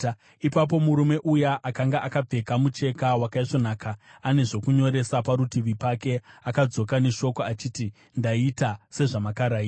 Ipapo murume uya akanga akapfeka mucheka wakaisvonaka ane zvokunyoresa parutivi pake akadzoka neshoko, achiti, “Ndaita sezvamakarayira.”